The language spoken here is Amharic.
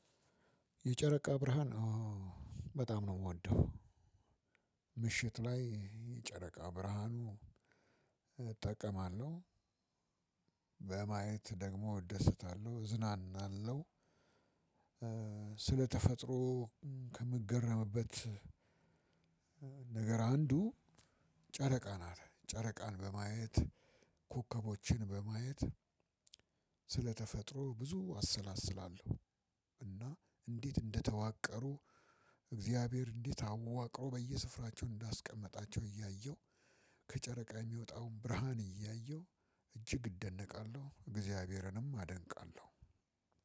የጨረቃ ብርሃን በጣም ነው የምወደው። ምሽት ላይ የጨረቃ ብርሃን እጠቀማለሁ። በማየት ደግሞ እደሰታለሁ እዝናናለሁ። ስለተፈጥሮ ከምገረምበት ነገር አንዱ ጨረቃ ናት። ጨረቃን በማየት ኮከቦችን በማየት ስለተፈጥሮ ብዙ አሰላስላለሁ። እና እንዴት እንደተዋቀሩ እግዚአብሔር እንዴት አዋቅሮ በየስፍራቸው እንዳስቀመጣቸው እያየሁ ከጨረቃ የሚወጣውን ብርሃን እያየሁ እጅግ እደነቃለሁ። እግዚአብሔርንም አደንቃለሁ።